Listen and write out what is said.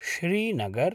Srinagar